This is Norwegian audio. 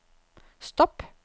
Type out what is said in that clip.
stopp